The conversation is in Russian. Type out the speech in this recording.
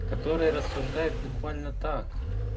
который рассуждает буквально так